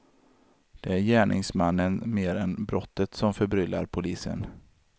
Det är gärningsmannen mer än brottet som förbryllar polisen.